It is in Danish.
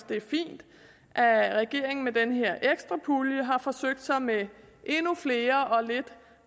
det er fint at at regeringen med den her ekstra pulje har forsøgt sig med endnu flere og lidt